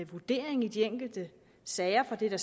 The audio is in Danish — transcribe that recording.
vurdering i de enkelte sager for det er der